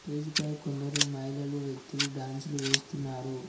డిజిపై కొందరు మహిళలు వ్యక్తులు డాన్స్ లు వేస్తున్నారు.